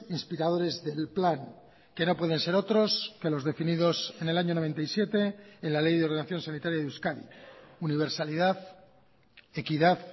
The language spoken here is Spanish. inspiradores del plan que no pueden ser otros que los definidos en el año noventa y siete en la ley de ordenación sanitaria de euskadi universalidad equidad